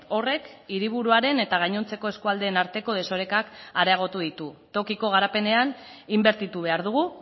horrek hiriburuaren eta gainontzeko eskualdeen arteko desorekak areagotu ditu tokiko garapenean inbertitu behar dugu